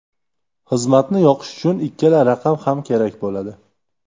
Xizmatni yoqish uchun ikkala raqam ham kerak bo‘ladi.